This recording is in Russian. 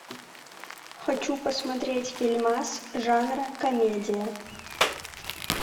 хочу посмотреть фильмас жанра комедия